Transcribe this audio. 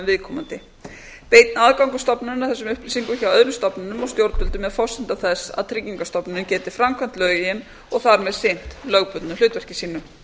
viðkomandi beinn aðgangur stofnunarinnar að þessum upplýsingum hjá öðrum stofnunum og stjórnvöldum er forsenda þess að tryggingastofnun geti framkvæmt lögin og þar með sinnt lögbundnu hlutverki sínu